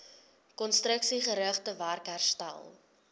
konstruksiegerigte werk herstel